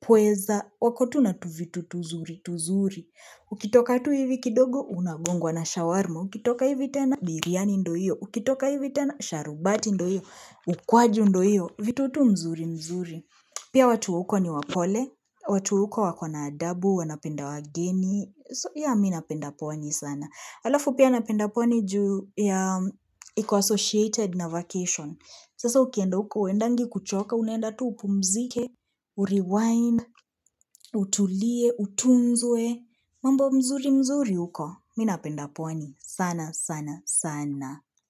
pweza. Wako tu na tuvitu tuzuri tuzuri. Ukitoka tu hivi kidogo, unagongwa na shawarma. Ukitoka hivi tena, biryani ndio hiyo. Ukitoka hivi tena, sharubati ndo hiyo. Ukwaji ndio hiyo. Vitu tu mzuri mzuri. Pia watu wa huko ni wapole. Watu wa huko wakona adabu, wanapenda wageni. So yeah mi napenda pwani sana. Alafu pia napenda pwani juu ya iko associated na vacation. Sasa ukienda huko, huendangi kuchoka, unaenda tu upumzike, urewind, utulie, utunzwe. Mambo mzuri mzuri huko, mi napenda pwani sana sana sana.